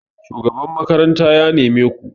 shugaban makaranta ya neme ku!